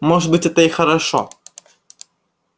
может быть это и хорошо